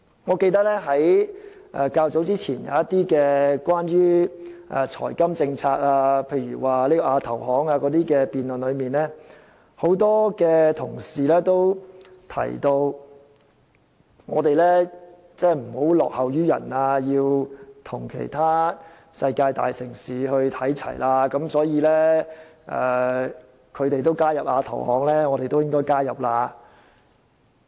我記得較早前，當我們談到一些財金政策時，例如有關亞洲基礎設施投資銀行的辯論，很多同事均提出香港不能落後於人，而是要與其他世界大城市看齊，所以別人加入亞投行，香港也應該加入。